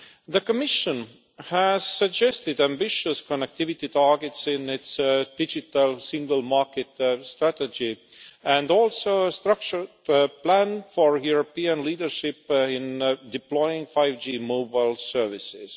The Commission has suggested ambitious connectivity targets in its digital single market strategy, and also a structured plan for European leadership in deploying 5G mobile services.